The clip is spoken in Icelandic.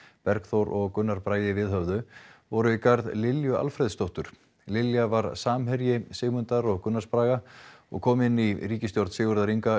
Bergþór og Gunnar Bragi viðhöfðu voru í garð Lilju Alfreðsdóttur Lilja var samherji Sigmundar og Gunnars Braga og kom inn í ríkisstjórn Sigurðar Inga